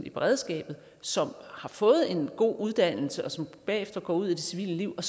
i beredskabet som har fået en god uddannelse som bagefter går ud i det civile liv og